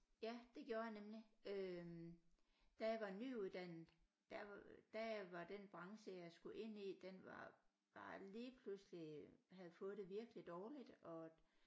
Ja det gjorde jeg nemlig øh da jeg var nyuddannet der var der var den branche jeg skulle ind i den var bare lige pludselig havde fået det virkelig dårligt og